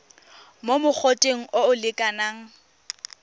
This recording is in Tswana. mo mogoteng o o lekanang